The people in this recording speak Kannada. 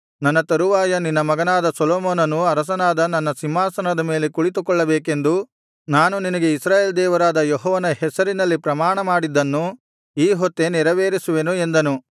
ನನ್ನ ತರುವಾಯ ನಿನ್ನ ಮಗನಾದ ಸೊಲೊಮೋನನು ಅರಸನಾದ ನನ್ನ ಸಿಂಹಾಸನದ ಮೇಲೆ ಕುಳಿತುಕೊಳ್ಳಬೇಕೆಂದು ನಾನು ನಿನಗೆ ಇಸ್ರಾಯೇಲ್ ದೇವರಾದ ಯೆಹೋವನ ಹೆಸರಿನಲ್ಲಿ ಪ್ರಮಾಣಮಾಡಿದ್ದನ್ನು ಈಹೊತ್ತೇ ನೆರವೇರಿಸುವೆನು ಎಂದನು